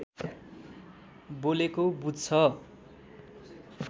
बोलेको बुझ्छ